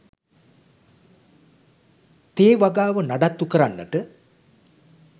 තේ වගාව නඩත්තු කරන්නට